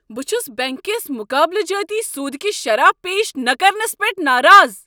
بہٕ چھس بینٛک کس مُقابلہٕ جٲتی سودٕکہِ شرح پیش نہٕ کرنس پیٹھ ناراض۔